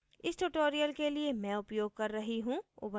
इस tutorial के लिए मैं उपयोग कर रही हूँ